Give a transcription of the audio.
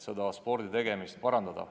Soovime sporditegemist parandada.